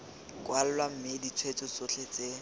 kwalwa mme ditshweetso tsotlhe tse